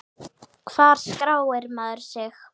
Hvar skráir maður sig?